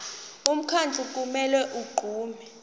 umkhandlu kumele unqume